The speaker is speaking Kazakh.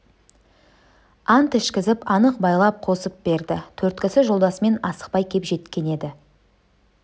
ант ішкізіп анық байлап қосып берді төрт кісі жолдасымен асықпай кеп жеткен еді